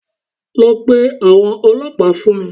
Lọ pe àwọn ọlọ́pàá fún mi